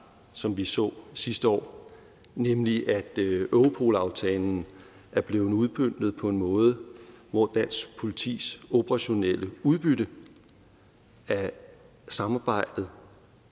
som vi så sidste år nemlig at europol aftalen er blevet udmøntet på en måde hvor dansk politis operationelle udbytte af samarbejdet